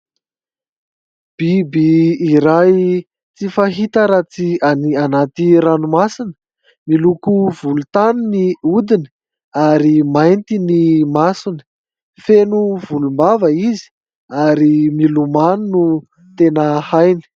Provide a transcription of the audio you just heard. Biby iray tsy fahita raha tsy any anaty ranomasina, miloko volontany ny odiny ary mainty ny masony, feno volombava izy ary milomano no tena hainy.